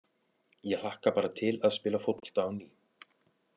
Ég hlakka bara til að spila fótbolta á ný.